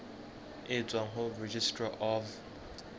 e tswang ho registrar of